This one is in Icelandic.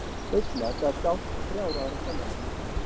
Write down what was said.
Seinna gaf Gauss þrjár aðrar sannanir.